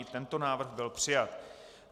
I tento návrh byl přijat.